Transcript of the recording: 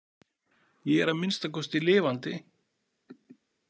Ég er að minnsta kosti lifandi.